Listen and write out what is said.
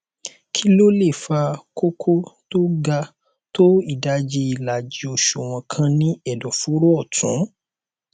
kí ló lè fa kókó tó ga tó ìdajì ìlàjì òṣùwọn kan ní ẹdọfóró ọtún